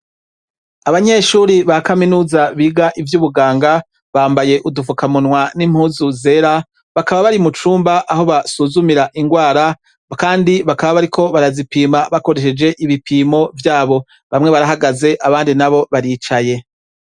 Abanyeshure ba kaminuza biga ivy'ubuganga bambaye udufukamunwa n'impuzu zera bakaba bari mu cumba aho basuzumira ingwara kandi bakaba bariko barazipima bakoresheje ibipimo vyabo. Bamwe baragaze abandi nabo baricaye.